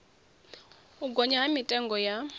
u gonya ha mitengo ya